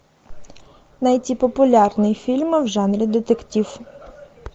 найти популярные фильмы в жанре детектив